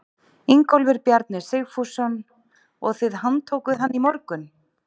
Ingólfur Bjarni Sigfússon: Og þið handtókuð hann í morgun?